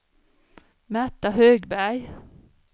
Märta Högberg